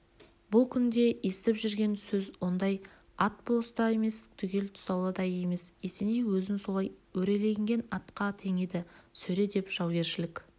бұл күнде естіп жүрген сөзі ондай ат бос та емес түгел тұсаулы да емес есеней өзін солай өреленген атқа теңеді сөре деп жаугершілік